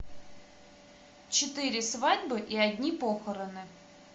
четыре свадьбы и одни похороны